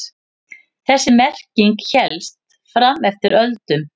Þessi merking hélst fram eftir öldum.